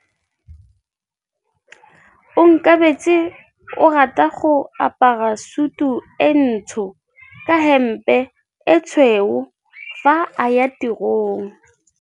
Onkabetse o rata go apara sutu e ntsho ka hempe e tshweu fa a ya tirong.